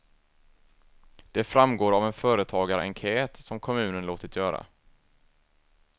Det framgår av en företagarenkät som kommunen låtit göra.